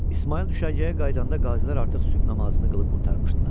İsmayıl düşərgəyə qayıdanda qazilər artıq sübh namazını qılıb qurtarmışdılar.